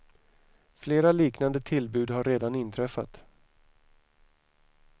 Flera liknande tillbud har redan inträffat.